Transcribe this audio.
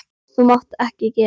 Þú mátt ekki gera þetta.